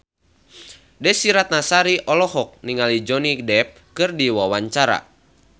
Desy Ratnasari olohok ningali Johnny Depp keur diwawancara